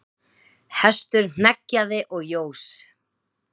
Hestur hneggjaði og jós.